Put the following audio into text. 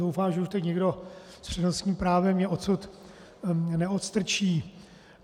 Doufám, že už teď nikdo s přednostním právem mě odsud neodstrčí.